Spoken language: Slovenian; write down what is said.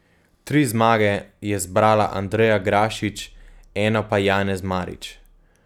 Tri zmage je zbrala Andreja Grašič, eno pa Janez Marič.